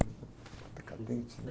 Decadentes, né?